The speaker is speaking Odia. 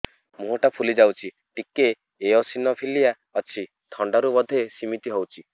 ମୁହଁ ଟା ଫୁଲି ଯାଉଛି ଟିକେ ଏଓସିନୋଫିଲିଆ ଅଛି ଥଣ୍ଡା ରୁ ବଧେ ସିମିତି ହଉଚି